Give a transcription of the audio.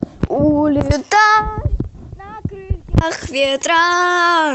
улетай на крыльях ветра